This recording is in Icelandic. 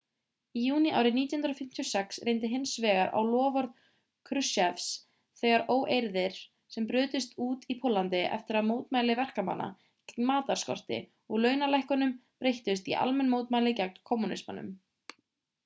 í júní árið 1956 reyndi hins vegar á loforð kruschevs þegar óeirðir sem brutust út í póllandi eftir að mótmæli verkamanna gegn matarskorti og launalækkunum breyttust í almenn mótmæli gegn kommúnismanum